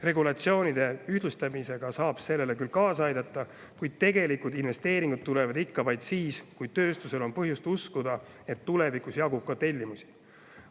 Regulatsioonide ühtlustamisega saab sellele küll kaasa aidata, kuid tegelikud investeeringud tulevad vaid siis, kui tööstus on põhjust uskuda, et tulevikus jagub ka tellimusi.